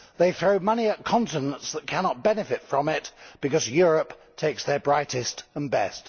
They throw money at continents that cannot benefit from it, because Europe takes their brightest and best.